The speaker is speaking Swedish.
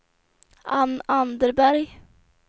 Ann Anderberg